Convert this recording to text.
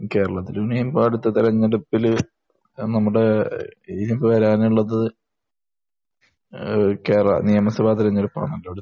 കേരളത്തിൽ ഇനിയിപ്പോൾ അടുത്ത തിരഞ്ഞെടുപ്പിൽ നമ്മുടെ ഇനിയിപ്പോൾ വരാനുള്ളത് ഏഹ് കേരള നിയമസഭാതിരഞ്ഞെടുപ്പ് ആണല്ലോ അടുത്തത്.